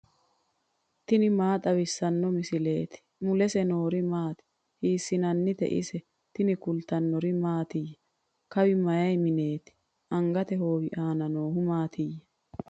tini maa xawissanno misileeti ? mulese noori maati ? hiissinannite ise ? tini kultannori mattiya? Kawi may mineetti? Angatte hoowi aanna noohu maattiya?